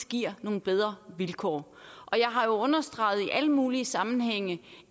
giver nogle bedre vilkår og jeg har jo understreget i alle mulige sammenhænge